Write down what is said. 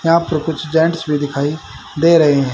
यहां पर कुछ जेंट्स भी दिखाई दे रहें हैं।